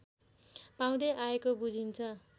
पाउँदै आएको बुझिन्छ